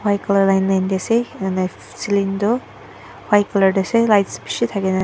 line line de ase ena hoi kena selen tue white colour light beshi thakei.